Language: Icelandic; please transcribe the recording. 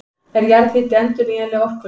Er jarðhiti endurnýjanleg orkulind?